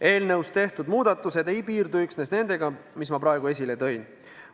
Eelnõus tehtud muudatused ei piirdu üksnes nendega, mis ma praegu esile tõin.